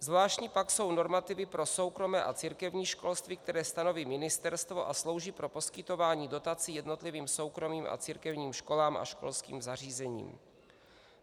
Zvláštní pak jsou normativy pro soukromé a církevní školství, které stanoví ministerstvo a slouží pro poskytování dotací jednotlivým soukromým a církevním školám a školským zařízením.